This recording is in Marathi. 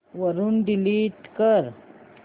वरून डिलीट कर